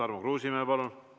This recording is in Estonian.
Tarmo Kruusimäe, palun!